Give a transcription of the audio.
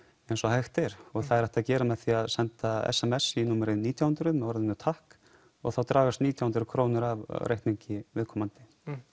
eins og hægt er og það er hægt að gera með því að senda sms í númerið nítján hundruð með orðinu takk og þá dragast nítján hundruð krónur af reikningi viðkomandi